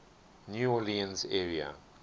new orleans area